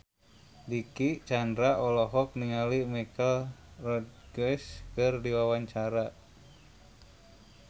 Dicky Chandra olohok ningali Michelle Rodriguez keur diwawancara